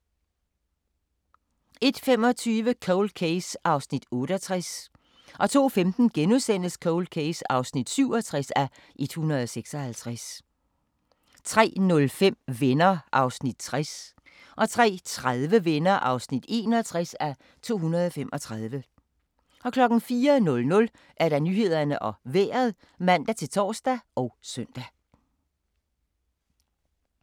01:25: Cold Case (68:156) 02:15: Cold Case (67:156)* 03:05: Venner (60:235) 03:30: Venner (61:235) 04:00: Nyhederne og Vejret (man-tor og søn)